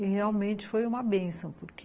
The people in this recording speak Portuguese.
E realmente foi uma bênção, porque...